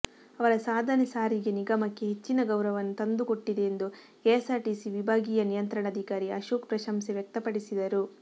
ಅವರ ಸಾಧನೆ ಸಾರಿಗೆ ನಿಗಮಕ್ಕೆ ಹೆಚ್ಚಿನ ಗೌರವವನ್ನು ತಂದು ಕೊಟ್ಟಿದೆ ಎಂದು ಕೆಎಸ್ಸಾರ್ಟಿಸಿ ವಿಭಾಗೀಯ ನಿಯಂತ್ರಣಾಧಿಕಾರಿ ಆಶೋಕ್ ಪ್ರಶಂಸೆ ವ್ಯಕ್ತಪಡಿಸಿದರು